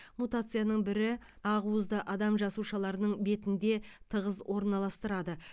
мутацияның бірі ақуызды адам жасушаларының бетінде тығыз орналастырады